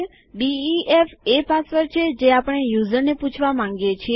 DEF એ password છે જે આપણે યુઝરને પૂછવા માંગીએ છીએ